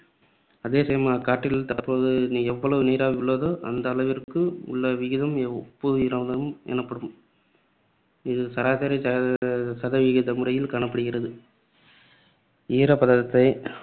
அதேசமயம் அக்காற்றில் தற்போது எவ்வளவு நீராவி உள்ளதோ அந்த அளவிற்கு உள்ள விகிதம் ஒப்பு ஈரப்பதம் எனப்படும். இது சராசரி சத~ சதவிகித முறையில் காணப்படுகிறது. ஈரப்பதத்தை